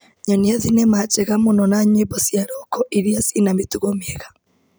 Nyonia thinema njega mũno ya nyĩmbo cia roko iria cina mĩtugo mĩega.